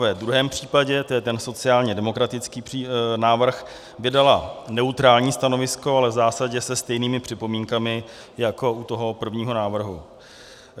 Ve druhém případě, to je ten sociálně demokratický návrh, vydala neutrální stanovisko, ale v zásadě se stejnými připomínkami jako u toho prvního návrhu.